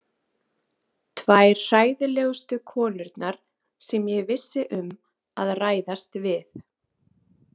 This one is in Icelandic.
Tvær hræðilegustu konurnar sem ég vissi um að ræðast við.